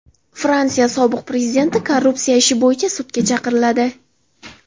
Fransiya sobiq prezidenti korrupsiya ishi bo‘yicha sudga chaqiriladi.